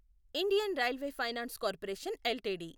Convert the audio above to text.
Indian railway finance corporation LTD